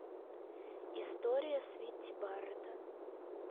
история свити барретта